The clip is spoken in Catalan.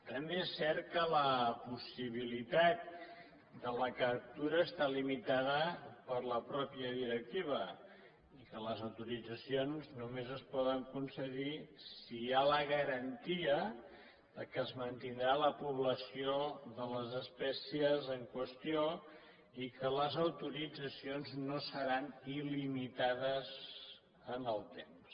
també és cert que la possibilitat de la captura està limitada per la mateixa directiva i que les autoritzacions només es poden concedir si hi ha la garantia que es mantindrà la població de les espècies en qüestió i que les autoritzacions no seran il·limitades en el temps